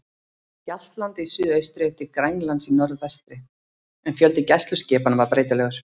Hjaltlandi í suðaustri til Grænlands í norðvestri, en fjöldi gæsluskipanna var breytilegur.